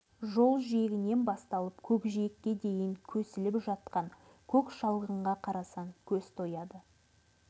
жол жиегінен басталып көкжиекке дейін көсіліп жатқан көк шалғынға қарасаң көз тояды